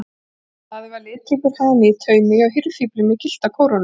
Daði var litríkur hani í taumi hjá hirðfífli með gyllta kórónu.